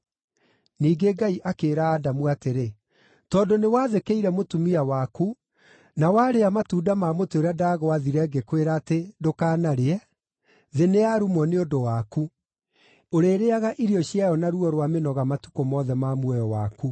Ningĩ Ngai akĩĩra Adamu atĩrĩ, “Tondũ nĩwathĩkĩire mũtumia waku, na warĩa matunda ma mũtĩ ũrĩa ndagwaathire, ngĩkwĩra atĩ, ‘Ndũkanarĩe,’ “Thĩ nĩyarumwo nĩ ũndũ waku; ũrĩrĩĩaga irio ciayo na ruo rwa mĩnoga matukũ mothe ma muoyo waku.